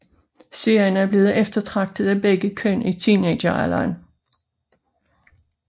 Serien er blevet eftertragtet af begge køn i teenagealderen